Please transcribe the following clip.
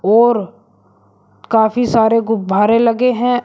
और काफी सारे गुब्बारे लगे हैं।